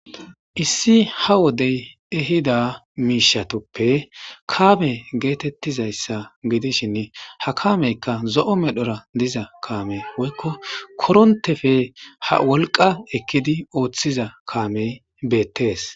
issi ha wodey ehida miishatoppe kaame geetettizayssa gidishinni ha kaameykka zo'o medhora diza kaame oykko korontefe ha wolqa ekkidi ooththiza kaamey beettees